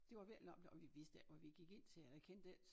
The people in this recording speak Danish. Det var virkelig en oplev og vi vidste ikke hvad vi gik ind til eller kendte ik